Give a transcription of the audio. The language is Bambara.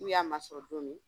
N'u y'a masɔrɔ don min